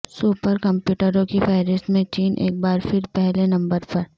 super کمپیوٹروں کی فہرست میں چین ایک بار پھر پہلے نمبر پر